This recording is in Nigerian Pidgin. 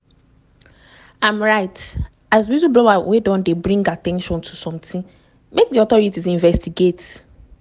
im write as whistleblower wey don dey bring at ten tion to sometin make di authorities investigate."